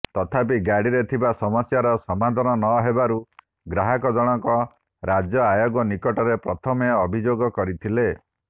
ତଥାପି ଗାଡ଼ିରେ ଥିବା ସମସ୍ୟାର ସମାଧାନ ନହେବାରୁ ଗ୍ରାହକ ଜଣକ ରାଜ୍ୟ ଆୟୋଗ ନିକଟରେ ପ୍ରଥମେ ଅଭିଯୋଗ କରିଥିଲେ